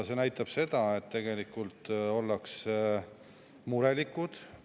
See näitab seda, et tegelikult ollakse murelikud.